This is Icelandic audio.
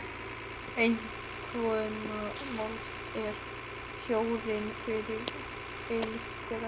En svona mold er kjörin fyrir illgresi.